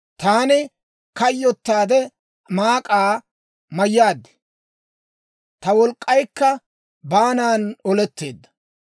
Taani kayyottaade, maak'aa mayyaad; ta wolk'k'aykka baanan oletteedda.